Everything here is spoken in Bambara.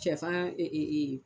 Sɛ fan